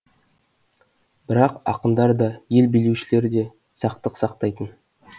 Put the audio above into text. бірақ ақындар да ел билеушілер де сақтық сақтайтын